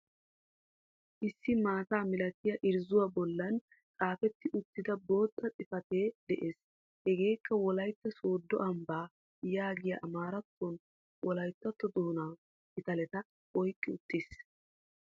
Issi maataa milatiyaa irrzuuwa bollan xafeti uttida botta xifate de7ees. Hegeekka wolaytta soddo ambbaa yaagiyaa amaarattonne wolayttato doona pitaleta oyqqi uttis.